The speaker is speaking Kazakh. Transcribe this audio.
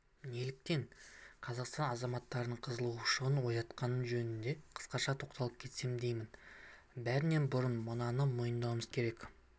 неліктен қазақстан азаматтарының қығызушылығын оятқаны жөнінде қысқаша тоқтала кетсем деймін бәрінен бұрын мынаны мойындауымыз керек